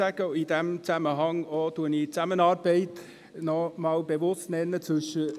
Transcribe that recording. In diesem Zusammenhang möchte ich die Zusammenarbeit zwischen GSoK und SiK noch einmal bewusst erwähnen.